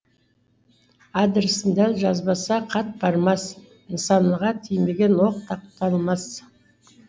адресін дәл жазбаса хат бармас нысанаға тимеген оқ тоқталмас